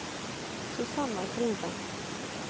Susanna Groven